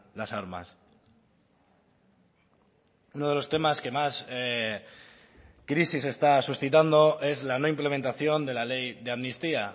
las armas uno de los temas que más crisis está suscitando es la no implementación de la ley de amnistía